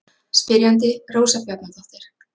Spyrjandi Rósa Bjarnadóttir.